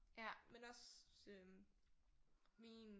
Men også min